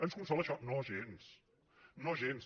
ens consola això no gens no gens